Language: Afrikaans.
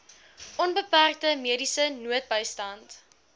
onbeperkte mediese noodbystand